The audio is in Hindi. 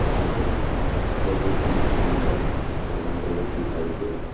घांसे बहुत ही सुन्दर यहाँ रोड दिखाई दे रहा है।